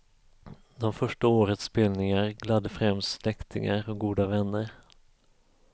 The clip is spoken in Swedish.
De första årets spelningar gladde främst släktingar och goda vänner.